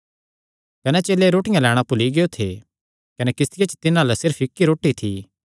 कने चेले रोटियां लैणां भुल्ली गियो थे कने किस्तिया च तिन्हां अल्ल सिर्फ इक्क रोटी थी